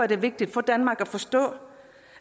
det vigtigt for danmark at forstå